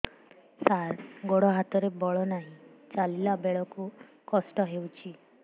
ସାର ଗୋଡୋ ହାତରେ ବଳ ନାହିଁ ଚାଲିଲା ବେଳକୁ କଷ୍ଟ ହେଉଛି